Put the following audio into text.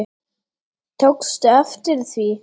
Tókstu eftir því?